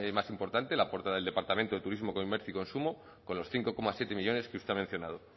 más importante la aporta el departamento de turismo comercio y consumo con los cinco coma siete millónes que usted ha mencionado